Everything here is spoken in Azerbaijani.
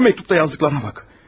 Bu məktubda yazdıqlarına bax.